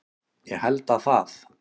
Ég held að það